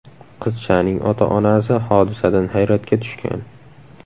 Qizchaning ota-onasi hodisadan hayratga tushgan.